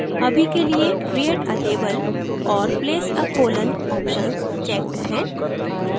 अभी के लिए create a label और place a colon options checked है